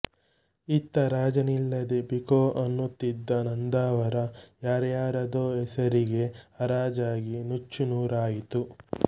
ಇತ್ತ ರಾಜನಿಲ್ಲದೆ ಬಿಕೊ ಅನ್ನುತ್ತಿದ್ದ ನಂದಾವರ ಯಾರ್ಯಾರದೋ ಹೆಸರಿಗೆ ಹರಾಜಾಗಿ ನುಚ್ಚು ನೂರಾಯಿತು